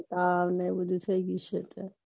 હા ને આવું થય ગયું છે